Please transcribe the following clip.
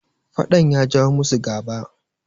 fadan ya jawo musu gaba